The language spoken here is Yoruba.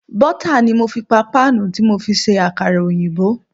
Bọ́tà ni mo fi pa páànù tí mo fi ṣe Àkàrà òyìnbó.